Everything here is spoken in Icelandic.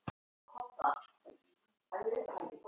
Þó er ein tæknileg ástæða sem líklega veldur þar mestu.